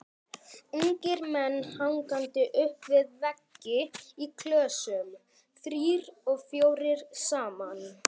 Ungir menn hangandi upp við veggi í klösum, þrír og fjórir saman.